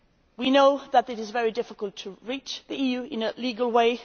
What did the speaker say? We know that it is very difficult to reach the EU in a legal way.